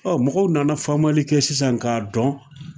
mɔgɔw nana faamali kɛ sisan k'a dɔn